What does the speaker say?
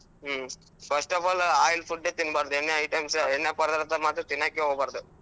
Hmm first of all oil food ತಿನ್ಬಾರ್ದು ಎಣ್ಣೆ items ಎಣ್ಣೆ ಪದಾರ್ಥಾ ಮಾತ್ರ ತಿನ್ನಾಕೆ ಹೋಗ್ಬಾರ್ದು.